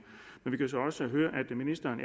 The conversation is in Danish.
vi kan så også høre at ministeren